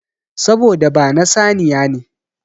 Saboda ba na saniya ne.